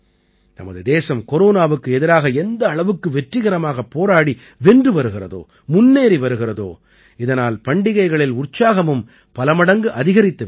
நமது தேசம் கொரோனாவுக்கு எதிராக எந்த அளவுக்கு வெற்றிகரமாகப் போராடி வென்று வருகிறதோ முன்னேறி வருகிறதோ இதனால் பண்டிகைகளில் உற்சாகமும் பல மடங்கு அதிகரித்து விட்டது